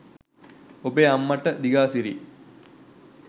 ඔබේ අම්මට දිගාසිරි